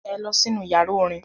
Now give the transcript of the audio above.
Ẹ lọ sínú ìyàrá-orin!